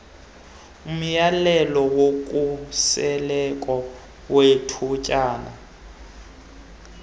umyalelo wokhuseleko wethutyana